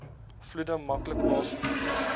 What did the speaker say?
vloede maklik plaasvind